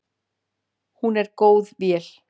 Hún er góð vél.